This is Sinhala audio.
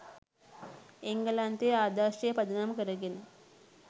එංගලන්තයේ ආදර්ශය පදනම් කරගෙන